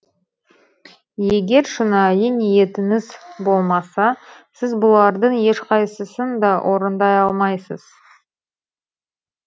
егер шынайы ниетіңіз болмаса сіз бұлардың ешқайсысын да орындай алмайсыз